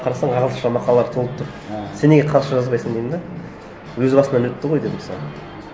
қарасаң ағылшынша мақалалар толып тұр сен неге қазақша жазбайсың дедім де өз басыңан өтті ғой деп мысалы